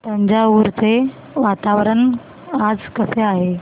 तंजावुर चे वातावरण आज कसे आहे